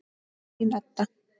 Þín, Edda.